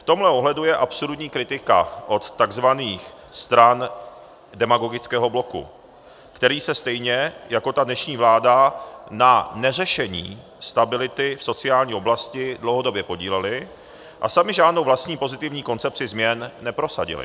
V tomhle ohledu je absurdní kritika od tzv. stran demagogického bloku, který se stejně jako ta dnešní vláda na neřešení stability v sociální oblasti dlouhodobě podílely a samy žádnou vlastní pozitivní koncepci změn neprosadily.